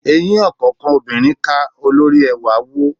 Eyín ọ̀kánkán obinrin ká, olóri ẹwà wó.